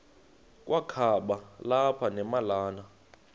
kwakaba lapha nemalana